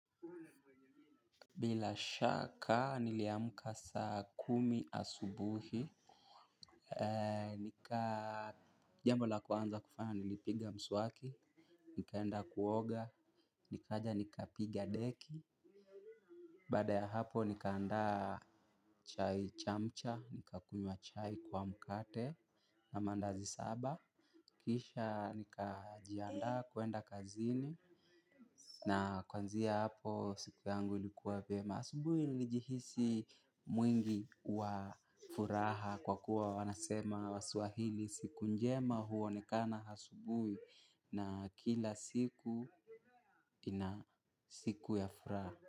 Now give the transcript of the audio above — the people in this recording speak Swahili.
Bila shaka niliamka saa kumi asubuhi. Nika jambo la kwanza kufanya nilipiga mswaki. Nikaenda kuoga, nikaja nikapiga deki. Baada ya hapo nikaandaa chai chamcha, nikakunywa chai kwa mkate na mandazi saba. Kisha nika jiandaa kuenda kazini. Na kuanzia hapo siku yangu ilikuwa vyema asubuhi nilijihisi mwingi wa furaha kwa kuwa wanasema wa swahili. Siku njema huonekana asubuhi na kila siku ina siku ya furaha.